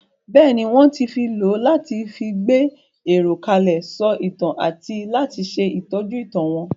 Bẹ́ẹ̀ni, wón ti lò ó láti fi gbé èrò kalẹ̀, sọ ìtàn àti láti ṣe ìtọ́jú ìtàn wọn.